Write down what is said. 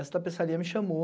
Essa tapeçaria me chamou,